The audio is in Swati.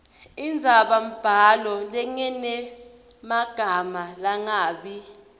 indzabambhalo lenemagama langabi